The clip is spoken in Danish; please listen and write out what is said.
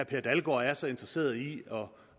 per dalgaard er så interesseret i at